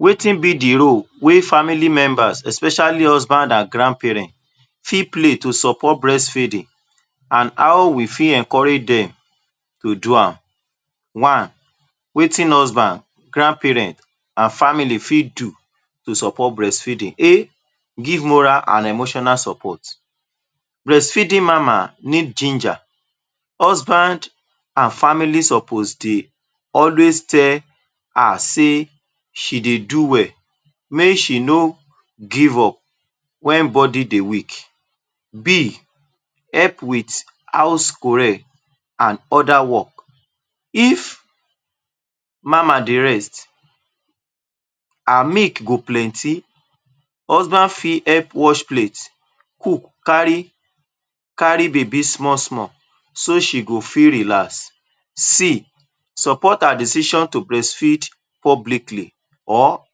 Wetin be the role wey family members especially husband and grandparent fit play to support breast feeding and how we fit encourage dem to do am? One: wetin husband, grandparent and family fit do to support breast feeding A: give moral and emotional support, breast feeding mama need ginger, husband and family sopos dey always tell her sey she dey do well mey she no give up when body dey weak. B: help with house chore and other work, if mama dey rest her milk go plenty, husband fit help wash plate, cook, kari baby small-small so she go feel relax. C: support her decision to breast feed publicly or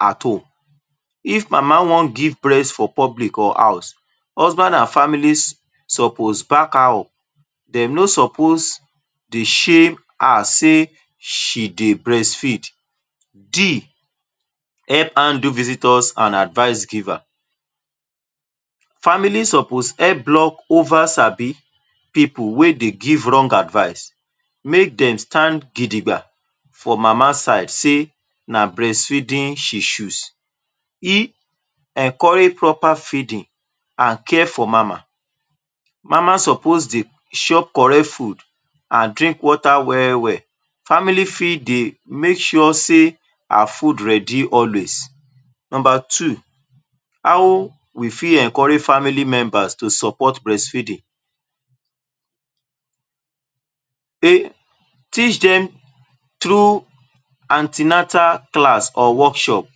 at home, if mama wan give breast for public or house, husband and family sopos back her up, dem no sopos dey shem her sey she dey breastfeed D: help handle visitors and advice giver, family sopos help block over sabi pipul wey dey give rong advice, make dey stand gidigba for mama side sey na breast feeding she choose. E: encourage proper feeding and care for mama, mam sopoos to dey chop correct food and drink water well-well, family fit dey make sure sey her food ready always Number two: how we fit encourage family member to support breast feeding? A: teach dem through anti-natal class or workshop,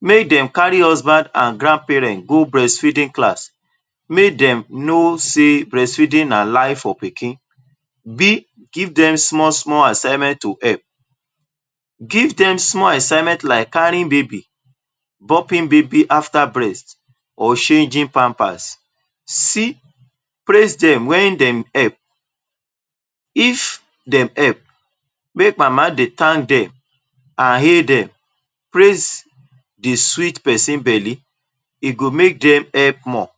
mey dem kari husband and grandparent go breast feeding class mey dem no sey breast feeding na life for pikin B: give dem small-small assignment to help, give dem small assignment like kari baby, burping baby after breast or change pampers. C: praise dem wen dem help, if dem help make mam dey tank dem and hale dem, praise dey sweet person bele e go make dem help more.